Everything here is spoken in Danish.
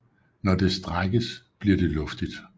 Når det strækkes bliver det luftigt